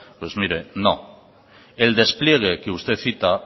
pues mire no el despliegue que usted cita